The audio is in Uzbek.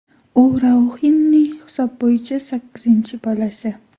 U Rauxinning hisob bo‘yicha sakkizinchi bolasi.